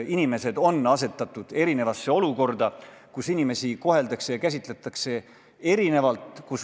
Inimesed on asetatud erinevasse olukorda, inimesi koheldakse erinevalt.